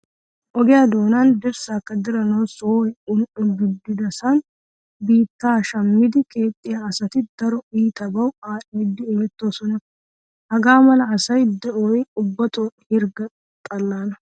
Ogiyaa doonan dirssaakka diranawu sohoy un"o gididasan biittaa shammidi keexxiyaa asati daro iitabawu aadhdhidi imettoosona. Haga mala asaa de"oy ubbatoo hirgga xallaana.